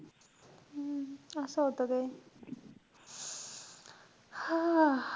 हम्म असं होतं ते. हां.